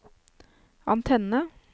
antenne